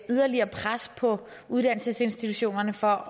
yderligere pres på uddannelsesinstitutionerne for